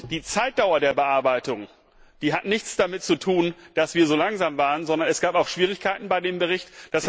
Die Zeitdauer der Bearbeitung hat nichts damit zu tun, dass wir so langsam waren, sondern es gab auch Schwierigkeiten bei dem Bericht.